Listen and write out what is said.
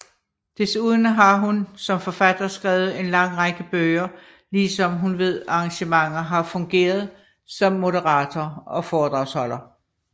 Desuden har hun som forfatter skrevet en lang række bøger ligesom hun ved arrangementer har fungeret som moderator og foredragsholder